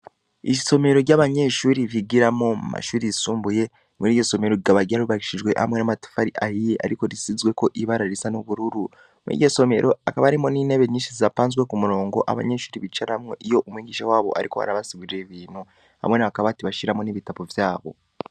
Isomero ry'abanyeshuri bigiramo mashuri risumbuye muri iryo somero rigaba ryarubaishijwe hamwe n'amatufari ahiye, ariko risizweko ibara risa n'ubururu muri iryo somero akaba arimo n'intebe nyinshi sapanzwe ku murongo abanyenshuri bicaramwo iyo umwingisha wabo, ariko harabasugurira ibintu hamwe na bakaboati bashiramo n'ibitabo vyabo.